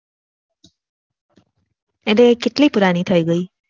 આ date કેટલી પુરાની થઇ ગઈ